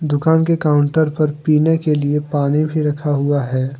दुकान के काउंटर पर पीने के लिए पानी भी रखा हुआ है।